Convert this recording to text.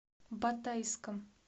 батайском